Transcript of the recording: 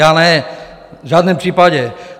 Já ne, v žádném případě.